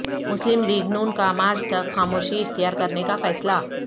مسلم لیگ ن کا مارچ تک خاموشی اختیا کرنے کا فیصلہ